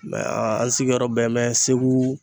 an sigiyɔrɔ bɛnbɛn Segu.